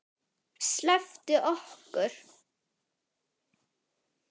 SLEPPTU OKKUR!